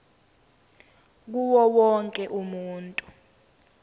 kuwo wonke umuntu